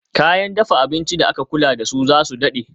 Kayan dafa abinci da aka kula dasu zasu dade